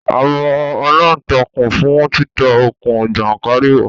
A mọ aláǹtakùn fún títa okùn jàńkàrìwọ̀